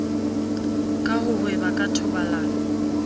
ka ho hweba ka thobalano